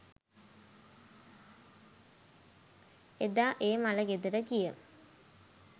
එදා ඒ මල ගෙදර ගිය